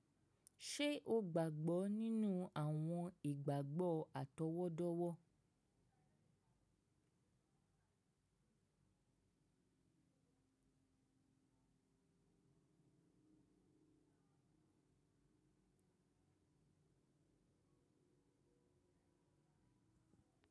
Ṣe o gbagbọ ninu awọn igbagbọ atọwọdọwọ?